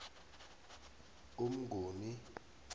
umnguni